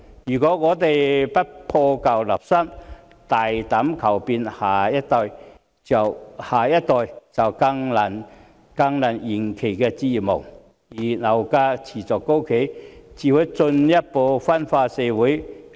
如果我們不破舊立新，大膽求變，下一代便更難圓其置業夢，而樓價持續高企，只會進一步分化社會。